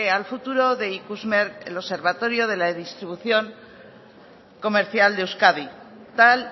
al futuro de ikusmer el observatorio de la distribución comercial de euskadi tal